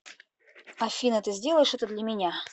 афина ты сделаешь это для меня